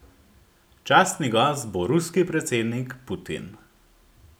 Častni gost bo ruski predsednik Putin.